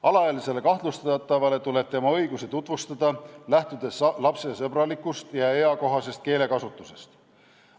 Alaealisele kahtlustatavale tuleb tema õigusi tutvustada, lähtudes lapsesõbralikust ja eakohasest keelekasutusest.